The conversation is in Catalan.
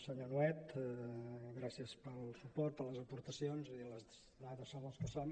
senyor nuet gràcies pel suport per les aportacions les dades són les que són